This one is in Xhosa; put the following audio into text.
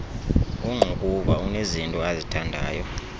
ongqukuva unezinto azithandayo